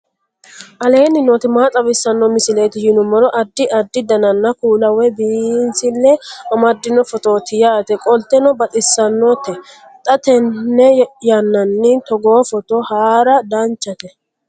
aleenni nooti maa xawisanno misileeti yinummoro addi addi dananna kuula woy biinsille amaddino footooti yaate qoltenno baxissannote xa tenne yannanni togoo footo haara danvchate